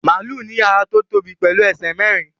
Màlúù ní ara tó tóbi pẹ̀lú ẹsẹ̀ mẹ́rin